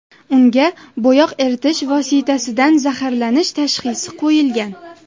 Unga bo‘yoq eritish vositasidan zaharlanish tashxisi qo‘yilgan.